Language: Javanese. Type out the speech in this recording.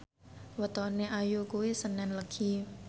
wetone Ayu kuwi senen Legi